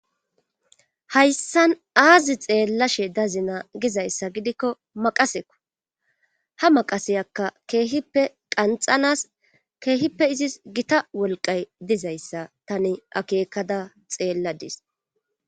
hayssan aazi xeella she dazina gizayssa gidikko maqaseko ha maqaseyakka keehippe qanxanas keehippe izis gita wolqay dizayssa tani akeekada xeelladis